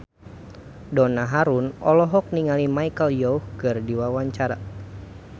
Donna Harun olohok ningali Michelle Yeoh keur diwawancara